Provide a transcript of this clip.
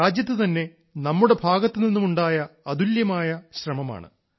ഇത് രാജ്യത്ത് തന്നെ നമ്മുടെ ഭാഗത്തുനിന്നും ഉണ്ടായ അതുല്യമായ ശ്രമമാണ്